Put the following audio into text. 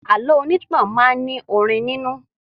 Àlọ́ onítàn máa ní orin nínú